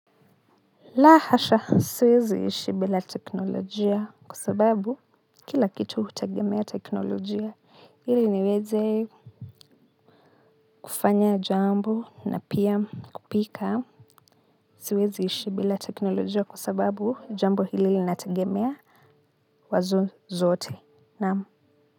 La hasha siwezi ishi bila teknolojia kwa sababu kila kitu hutagemea teknolojia ili niweze kufanya jambo na pia kupika siwezi ishi bila teknolojia kwa sababu jambo hili linatagemea wazo zote naam.